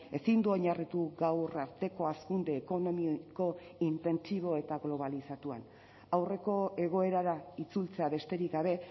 ezin du oinarritu gaur arteko hazkunde ekonomiko intentsibo eta globalizatuan aurreko egoerara itzultzea besterik gabe